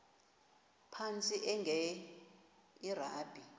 phantsi enge lrabi